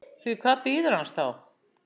Því hvað bíður hans þá?